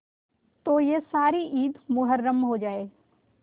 तो यह सारी ईद मुहर्रम हो जाए